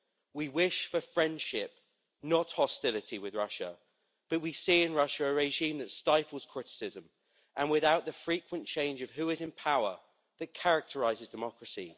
We wish for friendship, not hostility, with Russia, but we see in Russia a regime that stifles criticism and without the frequent change of who is in power that characterises democracy.